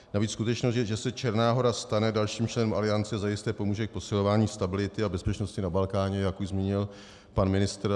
Navíc skutečnost, že se Černá Hora stane dalším členem Aliance, zajisté pomůže k posilování stability a bezpečnosti na Balkáně, jak už zmínil pan ministr.